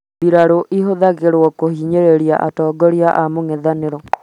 mbirarũ ĩhũthĩragwo kũhinyĩrĩria atingoria a mũng'ethanĩro